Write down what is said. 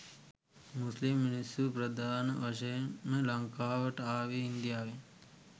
මුස්ලිම් මිනිස්සු ප්‍රධාන වශයෙන් ම ලංකාවට ආවේ ඉන්දියාවෙන්